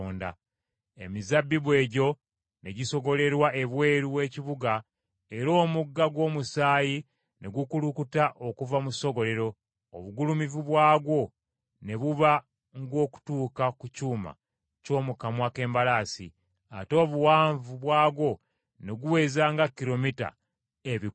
Emizabbibu egyo ne gisogolerwa ebweru w’ekibuga era omugga gw’omusaayi ne gukulukuta okuva mu ssogolero, obugulumivu bwagwo ne buba ng’okutuuka ku kyuma ky’omu kamwa k’embalaasi, ate obuwanvu bwagwo ne guweza nga kilomita ebikumi bisatu (300).